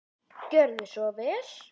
Gjörðu svo vel.